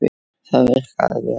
Það virkaði vel.